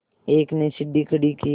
एक ने सीढ़ी खड़ी की